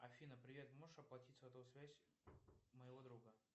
афина привет можешь оплатить сотовую связь моего друга